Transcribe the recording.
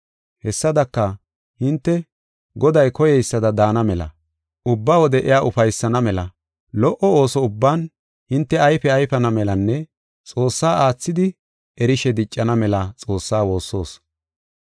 Hessadaka, hinte, Goday koyeysada daana mela, ubba wode iya ufaysana mela, lo77o ooso ubban hinte ayfe ayfana melanne Xoossaa aathidi erishe diccana mela Xoossaa woossoos.